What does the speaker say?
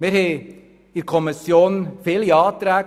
Es gab innerhalb der Kommission viele Anträge;